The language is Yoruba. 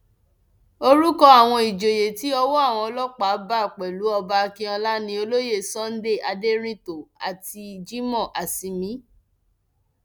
orúkọ àwọn ìjòyè tí ọwọ àwọn ọlọpàá bá pẹlú ọba akínọlá ni olóyè sunday aderintó àti jimoh asimiy